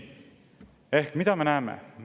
Ehk mida me näeme?